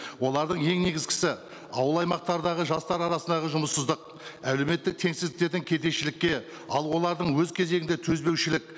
олардың ең негізгісі ауыл аймақтардағы жастар арасындағы жұмыссыздық әлеуметтік теңсіздіктердің кедейшілікке ал олардың өз кезегінде төзбеушілік